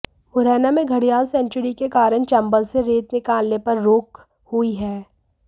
मुरैना में घड़ियाल सेंचुरी के कारण चंबल से रेत निकालने पर रोक हुई है